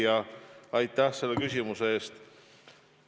Hea küsija, aitäh selle küsimuse eest!